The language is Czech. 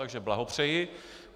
Takže blahopřeji.